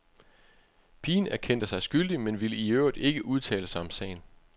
Pigen erkendte sig skyldig, men ville i øvrigt ikke udtale sig om sagen.